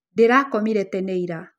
Ndĩrakomire tene ira